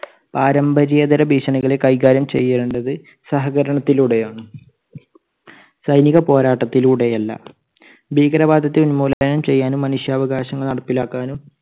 പാരമ്പര്യേതര ഭീഷണികളെ കൈകാര്യം ചെയ്യേണ്ടത് സഹകരണത്തിലൂടെ ആണ്. സ്പ സൈനിക പോരാട്ടത്തിലൂടെ അല്ല. ഭീകരവാദത്തെ ഉന്മൂലനം ചെയ്യാനും മനുഷ്യാവകാശങ്ങൾ നടപ്പിലാക്കാനും